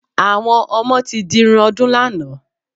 Àwọn ọmọ ti dirun ọdún lánàá.